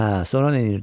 Hə, sonra neynirdi?